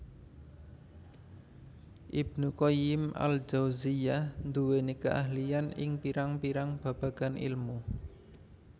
Ibnu Qayyim al Jauziyyah nduweni keahlian ing pirang pirang babagan ilmu